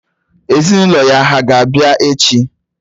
Ezinụlọ ya hà ga-abịa echi?